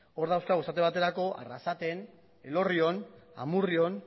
hor dauzkagu esate baterako arrasaten elorrion amurrion